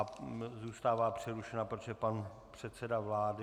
A zůstává přerušena, protože pan předseda vlády ...